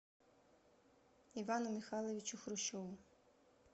ивану михайловичу хрущеву